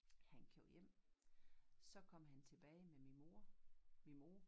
Han kørte hjem så kom han tilbage med min mor min mor